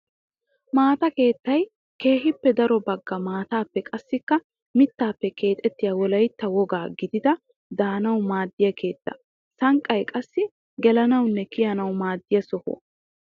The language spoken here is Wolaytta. Maata keettay keehippe daro bagga maatappe qassikka mittappe keexxettiya wolaytta wogaa gididda de'anawu maadiya keetta. Sanqqay qassi gelanawunne kiyanawu maadiya sohuwa.